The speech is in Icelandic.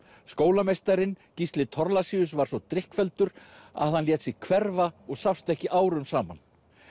skólameistarinn Gísli Thorlacius var svo drykkfelldur að hann lét sig hverfa og sást ekki árum saman